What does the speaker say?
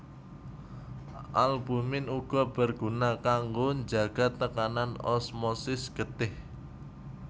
Albumin uga berguna kanggo njaga tekanan osmosis getih